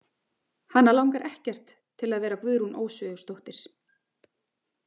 Hana langar ekkert til að vera Guðrún Ósvífursdóttir.